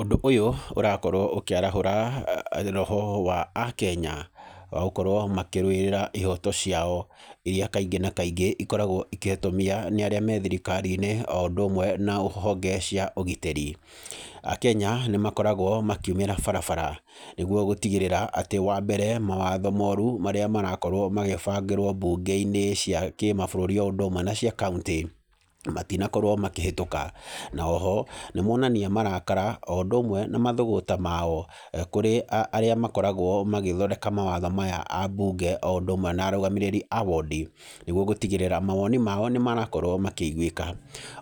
Ũndũ ũyũ ũrakorwo ũkĩarahũra roho wa Akenya, wa gũkorwo makĩrũĩrĩra ihooto ciao irĩa kaingĩ na kaingĩ ikoragwo ikĩhotomia nĩ arĩa me thirikari-inĩ, o ũndũ ũmwe na honge cia ũgitĩri. Akenya, nĩ makoragwo makiumĩra barabara, nĩguo gũtigĩrĩra, atĩ wa mbere, mawatho moru marĩa marakorwo magĩbangĩrwo mbunge-inĩ cia kĩmabũrũri o ũndũ ũmwe na cia kauntĩ, matinakorwo makĩhetũka. Na oho, nĩ monania marakara, o ũndũ ũmwe na mathũgũta mao kũrĩ arĩa makoragwo magĩthondeka mawatho maya abunge o ũndũ ũmwe na arũgamĩrĩri a wondi. Nĩguo gũtigĩrĩra mawoni mao nĩ marakorwo makĩiguĩka.